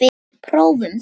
Prófum það.